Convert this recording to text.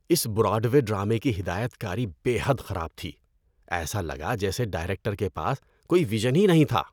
اس Broadway ڈرامے کی ہدایت کاری بے حد خراب تھی۔ ایسا لگا جیسے ڈائریکٹر کے پاس کوئی وژن ہی نہیں تھا۔